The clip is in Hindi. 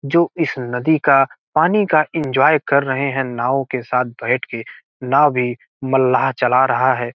जो इस नदी का पानी का इन्जॉय कर रहे हैं नाव के साथ बैठ के नाव भी मल्लाह चल रहा है।